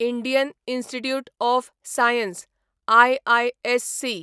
Indian Institute of Science IISc